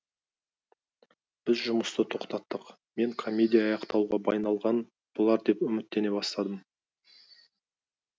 біз жұмысты тоқтаттық мен комедия аяқталуға айналған болар деп үміттене бастадым